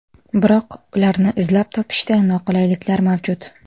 Biroq, ularni izlab topishda noqulayliklar mavjud.